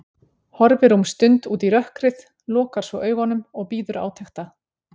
Horfir um stund út í rökkrið, lokar svo augunum og bíður átekta.